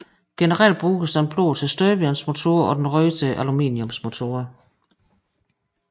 Generelt bruges den blå til støbejernsmotorer og den røde til aluminiumsmotorer